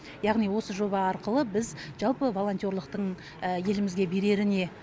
яғни осы жоба арқылы біз жалпы волонтерлықтың елімізге берері не